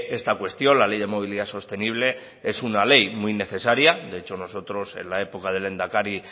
esta cuestión la ley de movilidad sostenible es una ley muy necesaria de hecho nosotros en la época del lehendakari